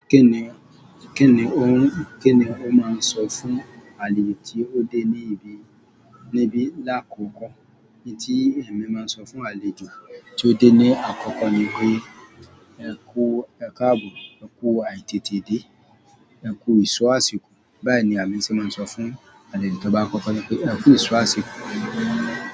Kíni, kíni, kíni ó máa ń sọ fún àlejò tí ó dé níbí, níbí lákòókò? Ohun tí èmi máa ń sọ fún àlejò tí ó dé ní àkókò ni pé "ẹ kú u, ẹkáàbù, ẹ kú àìtètè dé, ẹ kú ìṣó àsìkò." Bẹ́ẹ̀ ni èmi ṣe máa ń sọ fún àlejò tí ó bá á kọ́kọ́ de pé "ẹ kú ìṣó àsìkò."